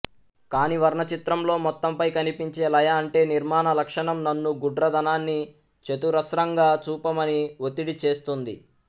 కాని వర్ణ చిత్రంలో మొత్తంపై కనిపించే లయఅంటే నిర్మాణ లక్షణం నన్ను గుడ్రదనాన్ని చతురస్రంగా చూపమని ఒత్తిడి చేస్తుంది